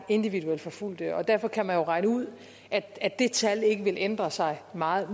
individuelt forfulgte derfor kan man jo regne ud at det tal ikke vil ændre sig meget